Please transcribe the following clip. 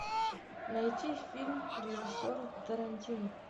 найти фильм режиссера тарантино